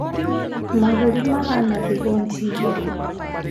Mahũri mahana thigoji igĩrĩ